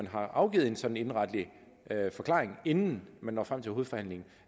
har afgivet en sådan indenretlig forklaring inden man når frem til hovedforhandlingen